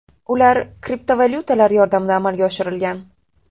Ular kriptovalyutalar yordamida amalga oshirilgan.